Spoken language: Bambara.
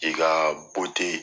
K'i ka